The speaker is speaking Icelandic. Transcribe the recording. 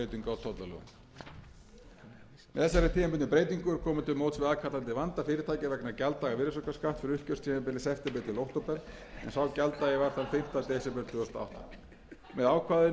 tímabundnu breytingu er komið til móts við aðkallandi vanda fyrirtækja vegna gjalddaga virðisaukaskatts fyrir uppgjörstímabilið september til október en sá gjalddagi var þann fimmta desember tvö þúsund og átta með ákvæðinu er verið að bregðast við brýnni þörf á gjaldaaðlögun fyrirtækja vegna þess gengisfalls samdráttar